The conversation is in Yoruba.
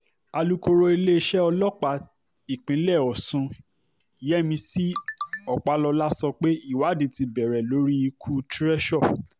alūkọ̀rọ̀ iléeṣẹ́ ọlọ́pàá ìpínlẹ̀ ọ̀sùn yẹ́mísì ọpàlọ́lá sọ pé ìwádìí ti bẹ̀rẹ̀ lórí ikú treasure